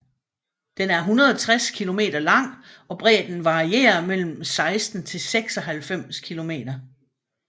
Den er 160 kilometer lang og bredden varierer mellem 16 til 96 kilometer